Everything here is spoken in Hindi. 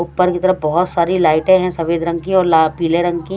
ऊपर की तरफ बहोत सारी लाइटे है सफेद रंग की और ला पीले रंग की।